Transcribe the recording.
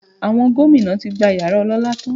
Àwọn gómìnà tí gba yàrá ọlọ́lá tán